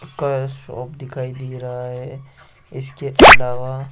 का शॉप दिखाई दे रहा है इसके अलावा--